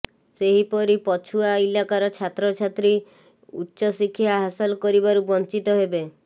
ସେହିପରି ପଛୁଆ ଇଲାକାର ଛାତ୍ରଛାତ୍ରୀ ଉ୍ଚ୍ଚଶିକ୍ଷା ହାସଲ କରିବାରୁ ବଂଚିତ ହେବେ